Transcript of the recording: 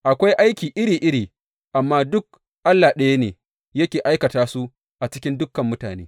Akwai aiki iri iri, amma duk Allah ɗaya ne yake aikata su a cikin dukan mutane.